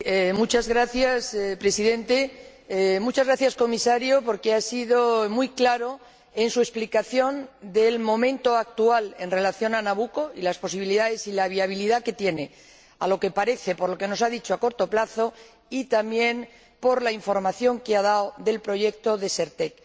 Señor Presidente, señor Comisario, muchas gracias, porque ha sido muy claro en su explicación del momento actual en relación con Nabucco y las posibilidades y la viabilidad que tiene, a lo que parece ―por lo que nos ha dicho―, a corto plazo, y también por la información que ha dado acerca del proyecto Desertec.